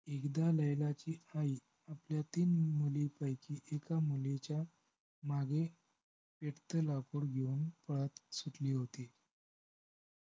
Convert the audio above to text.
एकदा लैलाची आई आपल्या तीन मुलींपैकी एका मुलीच्या मागे एकटे लाकूड घेऊन पळत सुटली होती